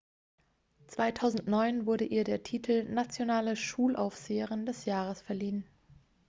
"2009 wurde ihr der titel "nationale schulaufseherin des jahres" verliehen.